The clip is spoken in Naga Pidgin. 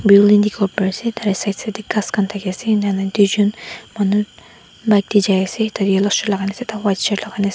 Building dekhi bo pari ase tate side side tey ghas khan thaki ase ena hoina doijun manu bike tey jai ase tate yellow shoe lagai na ase ekta white shirt lagai na ase.